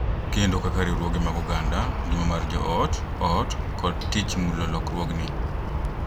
Kendo kaka riwruoge mag oganda, ngima mar jo ot, ot, kod tich mulo lokruogni.